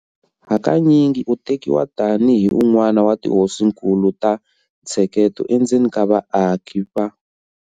Hakanyingi u tekiwa tani hi un'wana wa tihosinkulu ta ntsheketo endzeni ka vaaki va